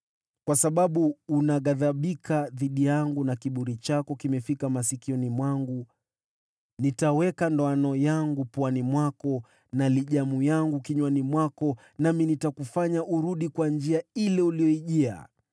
Kwa sababu unaghadhibika dhidi yangu, na ufidhuli wako umefika masikioni mwangu, nitaweka ndoana yangu puani mwako na hatamu yangu kinywani mwako, nami nitakufanya urudi kwa njia ile uliyoijia.’